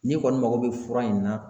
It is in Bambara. N'i kɔni mago bɛ fura in na